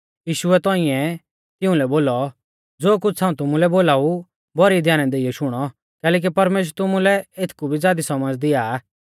यीशुऐ तौंइऐ तिउंलै बोलौ ज़ो कुछ़ हाऊं तुमुलै बोलाऊ भौरी ध्याना देइयौ शुणौ कैलैकि परमेश्‍वर तुमुलै एथकु भी ज़ादी सौमझ़ दिया आ